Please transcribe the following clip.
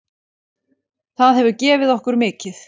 Það hefur gefið okkur mikið.